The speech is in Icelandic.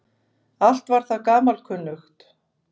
Allt var það gamalkunnugt.